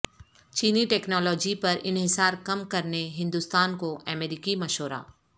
چینی ٹیکنالوجی پر انحصار کم کرنے ہندوستان کو امریکی مشورہ